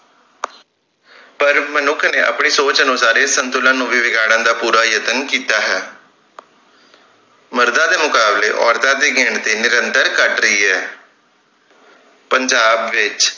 ਪਰ ਮਨੁੱਖ ਨੇ ਆਪਣੀ ਸੋਚ ਅਨੁਸਾਰ ਇਸ ਸੰਤੁਲਨ ਨੂੰ ਵੀ ਵਿਗਾੜਨ ਦਾ ਪੂਰਾ ਯਤਨ ਕੀਤਾ ਹੈ ਮਰਦਾਂ ਦੇ ਮੁਕਾਬਲੇ ਔਰਤਾਂ ਦੀ ਗਿਣਤੀ ਨਿੰਰਤਰ ਘੱਟ ਰਹੀ ਹੈ ਪੰਜਾਬ ਵਿਚ